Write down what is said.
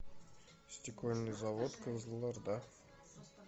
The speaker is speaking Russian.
стекольный завод кызылорда